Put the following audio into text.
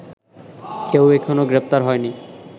কেউ এখনো গ্রেপ্তারহয়নি